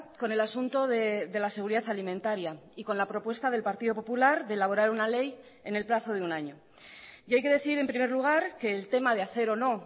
con el asunto de la seguridad alimentaria y con la propuesta del partido popular de elaborar una ley en el plazo de un año y hay que decir en primer lugar que el tema de hacer o no